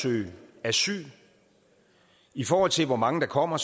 søge asyl i forhold til hvor mange der kommer